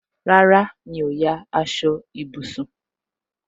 Rárá, mi ò ya aṣọ ìbùsùn